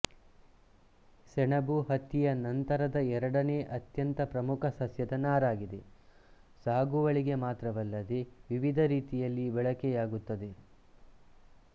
ಸೆಣಬು ಹತ್ತಿಯ ನಂತರದ ಎರಡನೇ ಅತ್ಯಂತ ಪ್ರಮುಖ ಸಸ್ಯದ ನಾರಾಗಿದೆ ಸಾಗುವಳಿಗೆ ಮಾತ್ರವಲ್ಲದೆ ವಿವಿಧ ರೀತಿಯಲ್ಲಿ ಬಳಕೆಯಾಗುತ್ತದೆ